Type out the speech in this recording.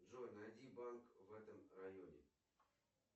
джой найди банк в этом районе